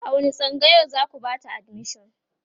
a wani tsangayar zaku Bata admission?